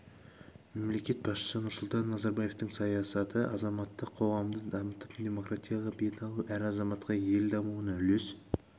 мемлекет басшысы нұрсұлтан назарбаевтың саясаты азаматтық қоғамды дамытып демократияға бет алу әр азаматқа ел дамуына үлес